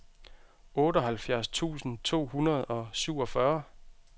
otteoghalvfjerds tusind to hundrede og syvogfyrre